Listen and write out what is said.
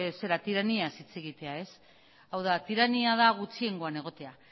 zera tiraniaz hitz egitea hau da tirania da gutxiengoan egotea